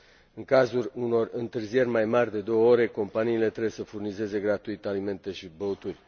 În cazul unor întârzieri mai mari de două ore, companiile trebuie să furnizeze gratuit alimente și băuturi.